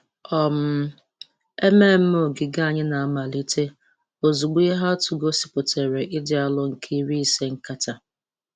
um Ememme ogige anyị na-amalite ozugbo ihe atụ gosipụtara ịdị arọ nke iri ise nkata.